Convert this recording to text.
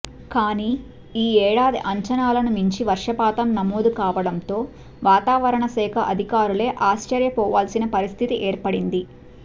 కానీ ఈ ఏడాది అంచనాలను మించి వర్షపాతం నమోదు కావడంతో వాతావరణ శాఖ అధికారులే ఆశ్చర్య పోవాల్సిన పరిస్థితి ఏర్పడింది